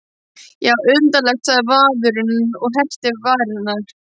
Já, undarlegt, sagði maðurinn og herpti varirnar.